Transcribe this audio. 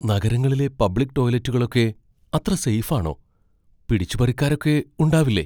നഗരങ്ങളിലെ പബ്ലിക് ടോയ്‌ലറ്റുകളൊക്കെ അത്ര സെയ്ഫ് ആണോ? പിടിച്ചുപറിക്കാരൊക്കെ ഉണ്ടാവില്ലേ?